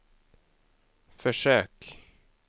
försök